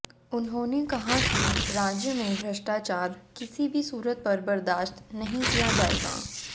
उन्होंने कहा कि राज्य में भ्रष्टाचार किसी भी सूरत पर बर्दाश्त नहीं किया जाएगा